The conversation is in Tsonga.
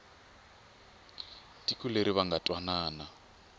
tiko leri va nga twanana